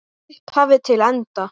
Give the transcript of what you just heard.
Frá upphafi til enda.